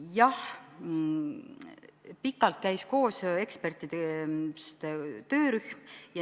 Jah, pikalt käis koos ekspertide töörühm.